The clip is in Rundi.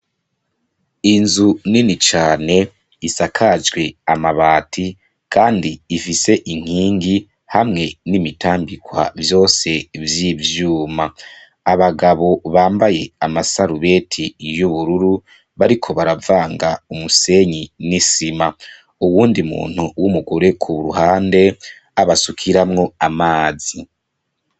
Inzu nini cane isakajwe amabati kandi ifise inkingi hamwe n'imitambikwa vyose vy'ivyuma. Abagabo bambaye amasarubeti y'ubururu bariko baravanga umusenyi n'isima. Uwundi muntu w'umugore ku ruhande abasukiramwo amazi.